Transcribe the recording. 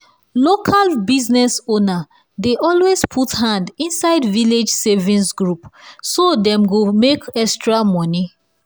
local business owner dey always put hand inside village savings group so dem go make extra money.